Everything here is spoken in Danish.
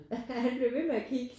Han blev ved med at kigge